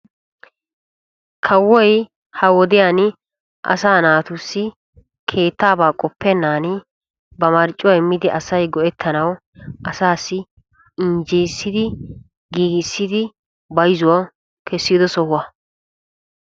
Kawoy ha wodiyaan asaa naatussi keettaabaa qoppennan ba marccuwaa immidi asay go"ettanaw asaassi injjeyissidi giigissidi bayzzuwaa kessido sohuwaa.